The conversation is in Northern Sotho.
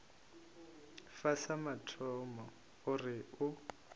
fa sa mathomo gore o